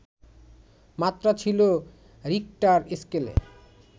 মাত্রা ছিল রিখটার স্কেলে